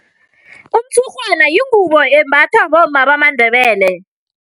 Umtshurhwana yingubo embathwa bomma bamaNdebele.